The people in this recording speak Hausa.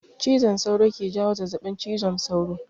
Cizon sauro ke jawo zazabin cizon sauro